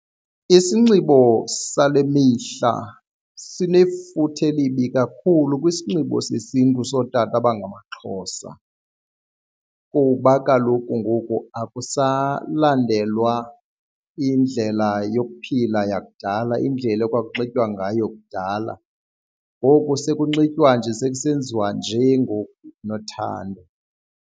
Isinxibo sale mihla sinefuthe elibi kakhulu kwisinxibo sesiNtu sotata abangamaXhosa kuba kaloku ngoku akusalandelwa indlela yokuphila yakudala, indlela ekwakunxitywa ngayo kudala. Ngoku sekunxitywa nje sekusenziwa nje ngoku unothanda.